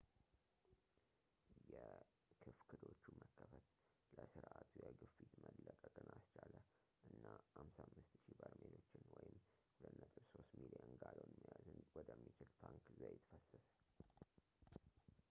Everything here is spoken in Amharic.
የክፍክዶቹ መከፈት ለስርዓቱ የግፊት መለቀቅን አስቻለ እና 55,000 በርሜሎችን 2.3 ሚሊዮን ጋሎን መያዝ ወደሚችል ታንክ ዘይት ፈሰሰ